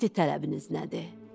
İndi tələbiniz nədir?